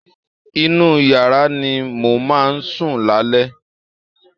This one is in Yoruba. Inú yàrá ni mo máa sùn lálẹ́